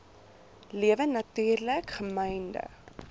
lewe natuurlik gemynde